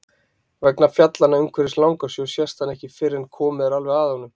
Vegna fjallanna umhverfis Langasjó sést hann ekki fyrr en komið er alveg að honum.